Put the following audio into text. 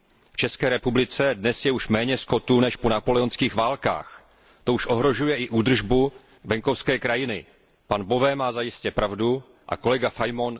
V České republice je dnes už méně skotu než po napoleonských válkách. To už ohrožuje i údržbu venkovské krajiny. Pan Bové má zajisté pravdu a kolega Fajmon se hluboce